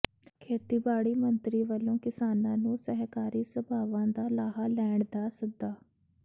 ਖੇਤੀਬਾੜੀ ਮੰਤਰੀ ਵੱਲੋਂ ਕਿਸਾਨਾਂ ਨੂੰ ਸਹਿਕਾਰੀ ਸਭਾਵਾਂ ਦਾ ਲਾਹਾ ਲੈਣ ਦਾ ਸੱਦਾ